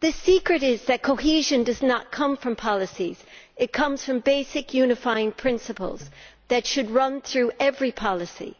The secret is that cohesion does not come from policies it comes from basic unifying principles that should run through every policy